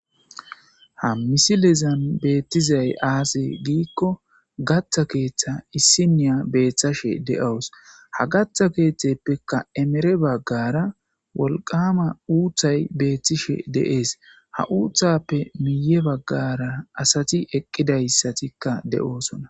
Ha missillezzan azzi betti gikko katha kethan issiniyya bettashe daws ha katha keetheppekka emmere baggarra wolqqama uthay bettishe de77ees ha uthappekka guye baggara asatti eqidossona.